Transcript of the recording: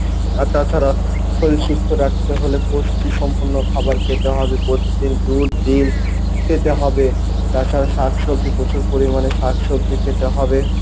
আর তাছাড়া শরীর সুস্থ রাখতে হলে পুষ্টি সম্পূর্ণ খাবার খেতে হবে, প্রতিদিন দুধ, ডিম্ খেতে হবে, তাছাড়া শাকসবজি প্রচুর পরিমাণে শাকসবজি খেতে হবে।